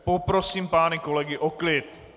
Poprosím pány kolegy o klid.